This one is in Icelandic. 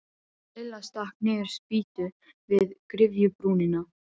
Lilla stakk niður spýtu við gryfjubrúnina.